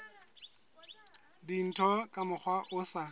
dintho ka mokgwa o sa